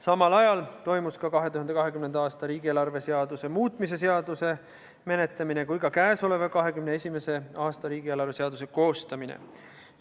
Samal ajal toimus ka 2020. aasta riigieelarve seaduse muutmise seaduse menetlemine ning käesoleva, 2021. aasta riigieelarve seaduse koostamine.